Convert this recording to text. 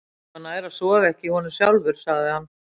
Mér var nær að sofa ekki í honum sjálfur, sagði hann.